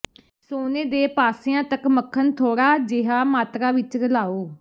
ਸੋਨੇ ਦੇ ਪਾਸਿਆਂ ਤਕ ਮੱਖਣ ਥੋੜਾ ਜਿਹਾ ਮਾਤਰਾ ਵਿੱਚ ਰਲਾਉ